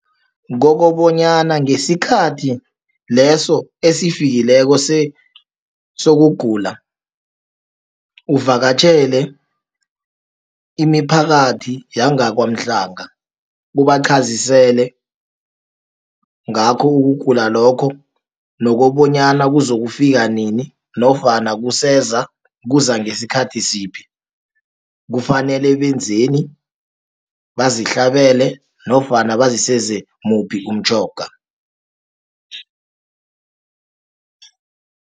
Kokobonyana ngesikhathi leso esifikileko sokugula, uvakatjhele imiphakathi yangaKwa-Mhlanga, ubachazisele ngakho ukugula lokho, nokobonyana kuzokufika nini, nofana kuseza, kuzangesikhathi siphi, kufanele benzeni, bazihlabele, nofana baziseze muphi umtjhoga.